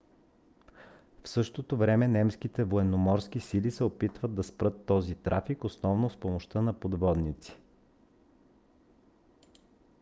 в същото време немските военноморски сили се опитват да спрат този трафик основно с помощта на подводници